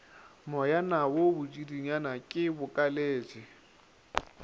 moyana wo botšiditšana ke bokaletše